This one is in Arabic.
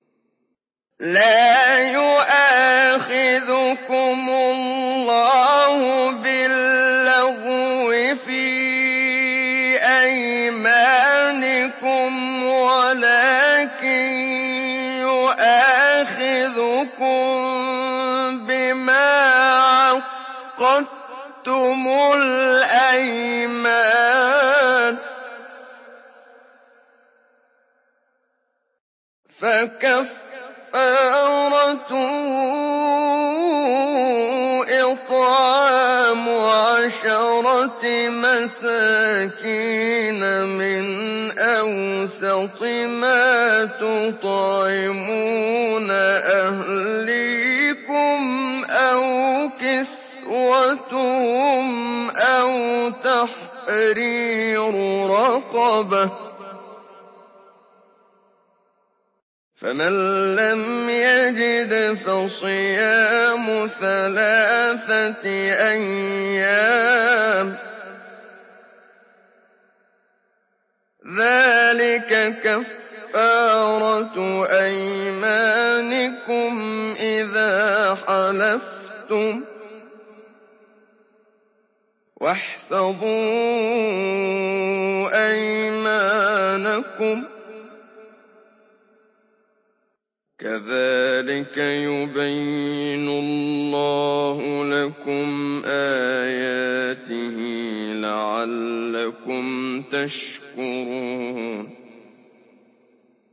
لَا يُؤَاخِذُكُمُ اللَّهُ بِاللَّغْوِ فِي أَيْمَانِكُمْ وَلَٰكِن يُؤَاخِذُكُم بِمَا عَقَّدتُّمُ الْأَيْمَانَ ۖ فَكَفَّارَتُهُ إِطْعَامُ عَشَرَةِ مَسَاكِينَ مِنْ أَوْسَطِ مَا تُطْعِمُونَ أَهْلِيكُمْ أَوْ كِسْوَتُهُمْ أَوْ تَحْرِيرُ رَقَبَةٍ ۖ فَمَن لَّمْ يَجِدْ فَصِيَامُ ثَلَاثَةِ أَيَّامٍ ۚ ذَٰلِكَ كَفَّارَةُ أَيْمَانِكُمْ إِذَا حَلَفْتُمْ ۚ وَاحْفَظُوا أَيْمَانَكُمْ ۚ كَذَٰلِكَ يُبَيِّنُ اللَّهُ لَكُمْ آيَاتِهِ لَعَلَّكُمْ تَشْكُرُونَ